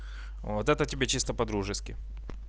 вот это тебе чисто по-дружески